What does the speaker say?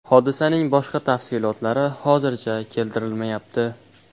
Hodisaning boshqa tafsilotlari hozircha keltirilmayapti.